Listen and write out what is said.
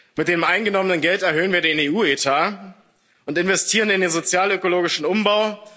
Mit dem eingenommenen Geld erhöhen wir den EU Etat und investieren in den sozial ökologischen Umbau.